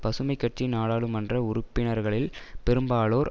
பசுமை கட்சி நாடாளுமன்ற உறுப்பினர்களில் பெரும்பாலோர்